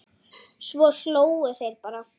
Svo hlógu þeir bara.